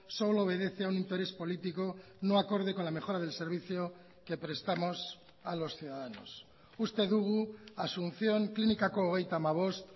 solo obedece a un interés político no acorde con la mejora del servicio que prestamos a los ciudadanos uste dugu asunción klinikako hogeita hamabost